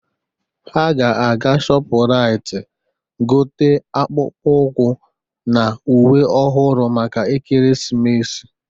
Ha ga-aga Shọpụraịt gote akpụkpọ ụkwụ na uwe ọhụrụ maka Ekeresimesi.